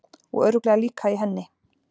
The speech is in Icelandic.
Og örugglega líka í henni.